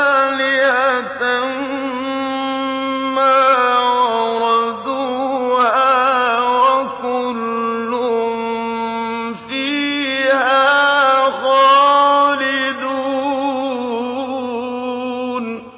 آلِهَةً مَّا وَرَدُوهَا ۖ وَكُلٌّ فِيهَا خَالِدُونَ